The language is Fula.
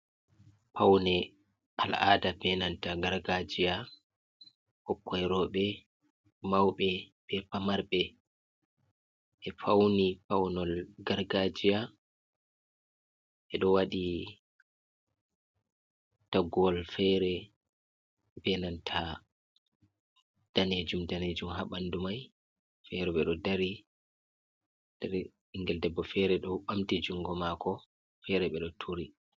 Paune al’ada benanta gargajiya ɓikkoi roɓe mauɓe be pamarɓe ɓe fauni paunelol gargajiya ɓeɗo waɗi toggowol fere benanta danejum danejum ha ɓandu mai fere ɓeɗo dari ɓingel debbo fere ɗo ɓamti jungo maako fere ɓeɗo turi.